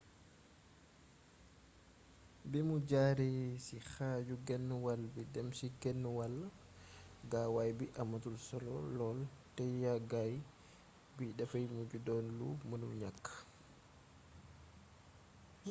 bimu jaaree ci xaaju-genwall bi dem ci genwall gaawaay bi amatul solo lool te yaggaay bi dafay mujj doon lu mënul ñakk